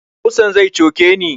Ƙusan zai coke ni